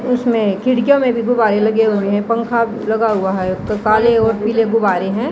इसमें खिड़कियां में भी गुब्बारे लगे हुए हैं पंखा लगा हुआ है काले और पीले गुब्बारे हैं।